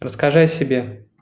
расскажи о себе